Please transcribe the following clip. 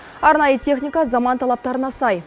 арнайы техника заман талаптарына сай